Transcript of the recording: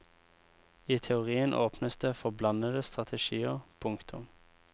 I teorien åpnes det for blandede strategier. punktum